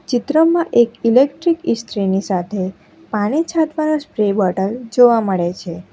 ચિત્રમાં એક ઈલેક્ટ્રિક ઇસ્ત્રીની સાથે પાણી છાંટવાનો સ્પ્રે બોટલ જોવા મળે છે.